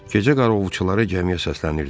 Gecə qaravulçuları gəmiyə səslənirdilər.